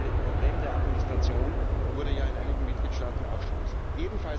Das Problem der Administration wurde ja in einigen Mitgliedstaaten auch schon angesprochen.